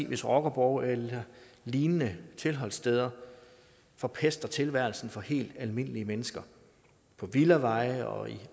hvis rockerborge eller lignende tilholdssteder forpester tilværelsen for helt almindelige mennesker på villaveje og i